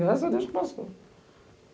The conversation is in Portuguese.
Graças a Deus que passou.